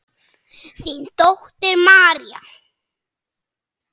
Þín dóttir María.